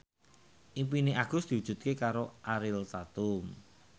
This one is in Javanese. impine Agus diwujudke karo Ariel Tatum